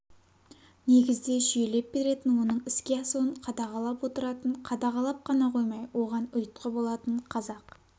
негізде жүйелеп беретін оның іске асуын қадағалап отыратын қадағалап қана қоймай оған ұйытқы болатын қазақ